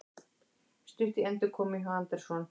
Stutt í endurkomu hjá Anderson